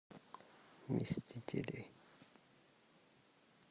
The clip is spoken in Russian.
мстители